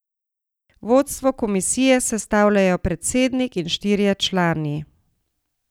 Vodstvo komisije sestavljajo predsednik in štirje člani.